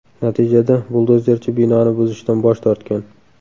Natijada buldozerchi binoni buzishdan bosh tortgan.